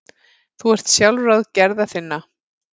Þú ert sjálfráð gerða þinna.